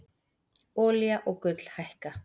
Olía og gull hækka